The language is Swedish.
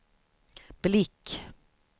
blick